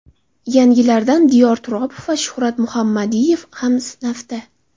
Yangilardan Diyor Turopov va Shuhrat Muhammadiyev ham safda.